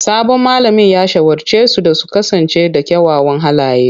Sabon malamin ya shawarce su da su kasance da kyawawan halaye.